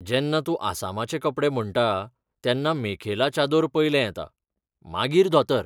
जेन्ना तूं आसामाचे कपडे म्हणटा, तेन्ना मेखेला चादोर पयलें येता, मागीर धोतर.